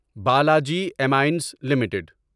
بالاجی ایمائنز لمیٹڈ